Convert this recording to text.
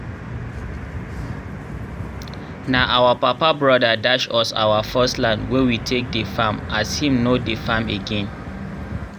nah our papa broda dash us our first land wey we take dey farm as him nor dey farm again